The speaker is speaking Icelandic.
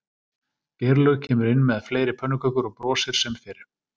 Geirlaug kemur inn með fleiri pönnukökur og brosir sem fyrr